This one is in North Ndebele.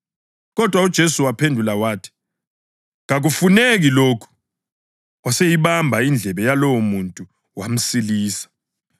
Kodwa uJesu waphendula wathi, “Kakufuneki lokhu!” Waseyibamba indlebe yalowomuntu wamsilisa.